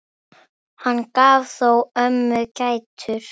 Hann gaf þó ömmu gætur.